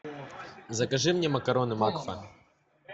закажи мне макароны макфа